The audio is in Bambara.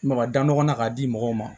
Maga da ɲɔgɔn na k'a di mɔgɔw ma